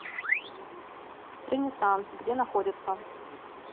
ренессанс где находится